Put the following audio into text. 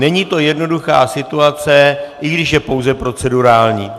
Není to jednoduchá situace, i když je pouze procedurální.